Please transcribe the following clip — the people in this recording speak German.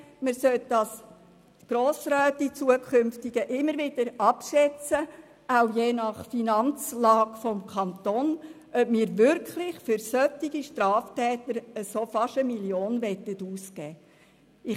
Die Grossräte sollten künftig immer wieder abschätzen können, auch je nach Finanzlage des Kantons, ob wir für solche Straftäter wirklich fast 1 Mio. Franken ausgeben wollen.